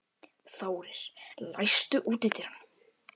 Þórir, læstu útidyrunum.